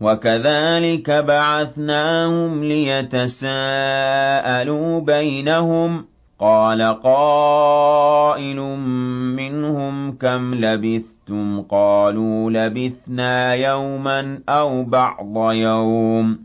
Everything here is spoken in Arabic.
وَكَذَٰلِكَ بَعَثْنَاهُمْ لِيَتَسَاءَلُوا بَيْنَهُمْ ۚ قَالَ قَائِلٌ مِّنْهُمْ كَمْ لَبِثْتُمْ ۖ قَالُوا لَبِثْنَا يَوْمًا أَوْ بَعْضَ يَوْمٍ ۚ